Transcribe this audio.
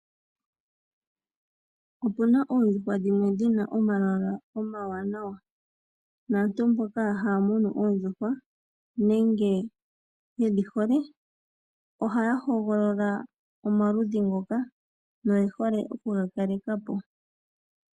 Opuna oondjuhwa dhimwe dhina omalwala omawanawa naantu mboka haya munu oondjuhwa nenge yedhi hole ohaya hogolola omaludhi ngoka noye hole oku ga kalekapo.